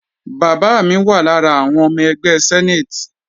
Bàbá mi wà lára àwọn ọmọ ẹgbẹ́ senate.